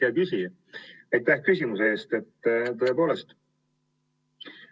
Hea küsija, aitäh küsimuse eest!